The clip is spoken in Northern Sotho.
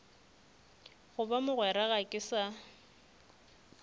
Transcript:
goba mogwera ga ke sa